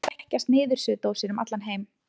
Núna þekkjast niðursuðudósir um allan heim.